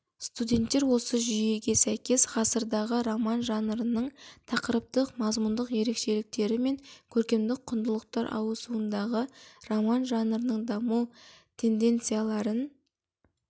студенттер осы жүйеге сәйкес ғасырдағы роман жанрының тақырыптық мазмұндық ерекшеліктері мен көркемдік құндылықтар ауысуындағы роман жанрының даму тенденцияларын